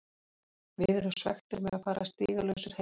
Við erum svekktir með að fara stigalausir heim.